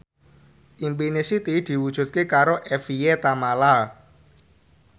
impine Siti diwujudke karo Evie Tamala